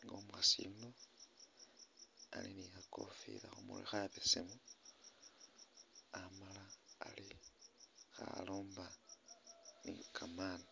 nga umukhaasi yuno ali ni khakofila khumurwe khabesemu amala ali khalomba ni kamaani .